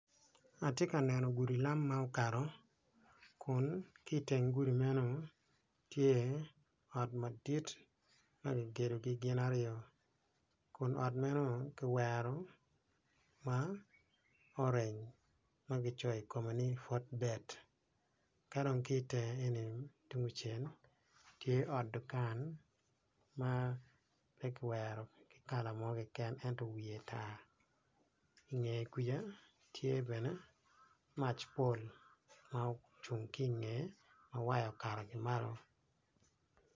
Atye ka neno gudi lam ma okato kun ki iteng gudi men tye ot madit ma kigedogi gin aryo kun ot meno ki wero ma orange ma kicoyo i kome ni fotbet ka dong ki itenge enini tye ot dukan ma ki wero pe ki wero ki kala mo kiken ento wiye tar i nge kwija tye bene mac pol ma ocung ki i ngeye ma waya okato ki malo